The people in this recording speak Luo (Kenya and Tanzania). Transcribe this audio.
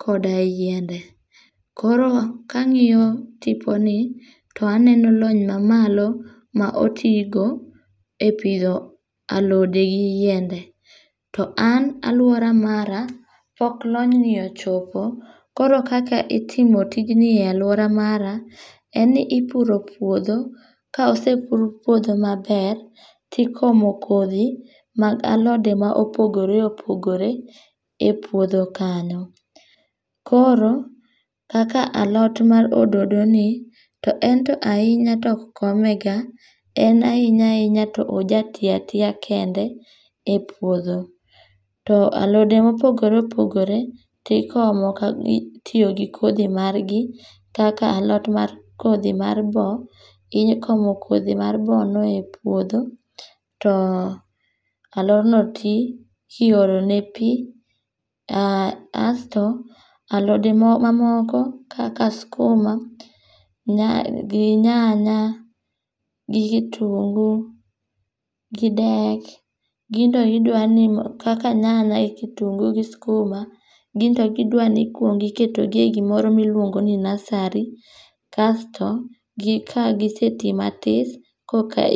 koda yiende. Koro, ka angíyo tiponi, to aneno lony ma malo ma otigo e pidho alode gi yiende. To an alwora mara, pok lonyni ochopo. Koro kaka itimo tijni e alwora mara, en ni ipuro puodho, ka osepur puodho maber, tikomo kodhi mag alode ma opogore opogore e puodho kanyo. Koro kaka alot mar ododoni, to ento ahinya ok komega. En ahinya ahinya to ojati atiya kende e puodho. To alode mopogore opogore tikomo ka itiyo gi kodhi margi. Kaka alot mar, kodhi mar boo ikomo kodhi mar boo no e puodho, to alodno ti, kiolo ne pi. um asto alode mo, mamoko kaka skuma gi nyanya, gi kitungu, gi dek, ginto idwani mondo, kaka nyanya gi kitungu gi skuma, ginto gidwani iketo gi e gimoro miluongoni nursery. Kasto gi kagisetii matis koka